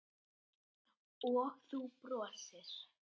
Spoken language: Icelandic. Og þú brosir.